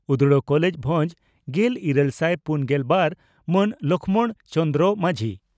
ᱩᱫᱽᱲᱟ college ᱵᱷᱚᱸᱡᱽ ᱾ᱜᱮᱞ ᱤᱨᱟᱹᱞ ᱥᱟᱭ ᱯᱩᱱᱜᱮᱞ ᱵᱟᱨ ᱹ ᱢᱟᱱ ᱞᱚᱠᱷᱢᱚᱬ ᱪᱚᱹ ᱢᱟᱹᱡᱷᱤ